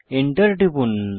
Enter টিপুন